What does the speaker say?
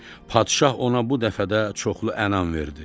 Padişah ona bu dəfə də çoxlu ənam verdi.